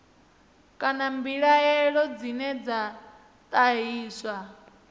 kana mbilaelo dzine dza ṱahiswa